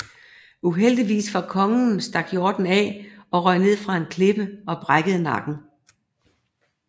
Uheldigvis for kongen stak hjorten af og røg ned fra en klippe og brækkede nakken